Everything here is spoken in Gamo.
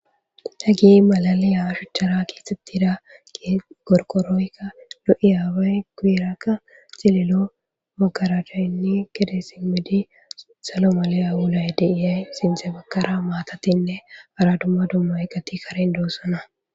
hagey malaliya shuchchara keexxettida qorqoroykka lo7iyaabay guyerakka cililo ha baggara gede simedi salo maliya wulay de7iyay sinthe baggara maatatinne hara dumma dumma eqati karen doossona